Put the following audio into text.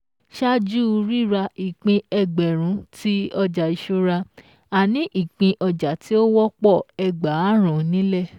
Ṣáájú rírà ìpín Ẹgbẹ̀rún tí ọjà ìṣúra a ní ìpín ọjà tí ó wọ́pọ̀ Ẹgbààrún nílẹ̀